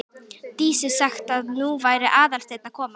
Dísu sagt að nú væri Aðalsteinn að koma.